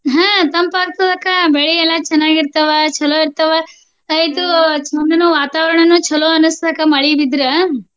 ಹ್ಮ ತಂಪ ಆಗ್ತದ ಅಕ್ಕ ಬೆಳಿಯೆಲ್ಲಾ ಚೆನ್ನಾಗಿರ್ತಾವ ಚೊಲೋ ಇರ್ತಾವ ಇದು ವಾತಾವರಣಾನು ಚೊಲೋ ಅನ್ಸಬೇಕ ಮಳಿ ಬಿದ್ರ.